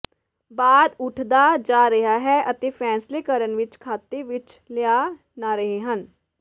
ਬਾਅਦ ਉੱਠਦਾ ਜਾ ਰਿਹਾ ਹੈ ਅਤੇ ਫ਼ੈਸਲੇ ਕਰਨ ਵਿਚ ਖਾਤੇ ਵਿੱਚ ਲਿਆ ਨਾ ਰਹੇ ਹਨ